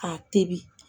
A tebi